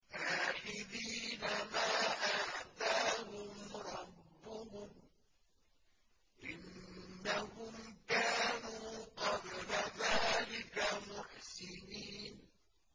آخِذِينَ مَا آتَاهُمْ رَبُّهُمْ ۚ إِنَّهُمْ كَانُوا قَبْلَ ذَٰلِكَ مُحْسِنِينَ